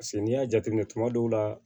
Paseke n'i y'a jateminɛ kuma dɔw la